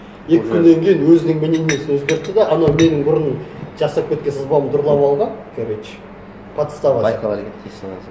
екі күннен кейін өзінің мнениесін өзгертті де анау менің бұрын жасап кеткен сызбамды ұрлап алған короче подстава сияқты